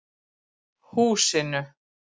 Húsinu